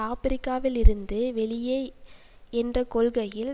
ஆபிரிக்காவிலிருந்து வெளியே என்ற கொள்கையில்